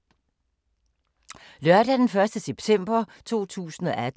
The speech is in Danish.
Lørdag d. 1. september 2018